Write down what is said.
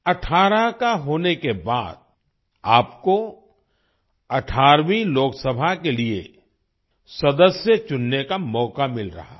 18 का होने के बाद आपको 18वीं लोकसभा के लिए सदस्य चुनने का मौका मिल रहा है